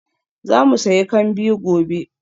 Za mu sayi kambi gobe.